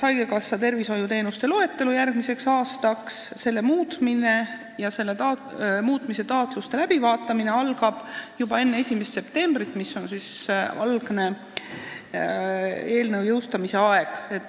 Haigekassa tervishoiuteenuste loetelu koostamine järgmiseks aastaks, selle muutmise taotluste läbivaatamine algab juba enne 1. septembrit, mis on eelnõu algne jõustamise aeg.